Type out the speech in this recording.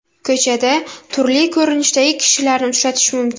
Ko‘chada turli ko‘rinishdagi kishilarni uchratish mumkin.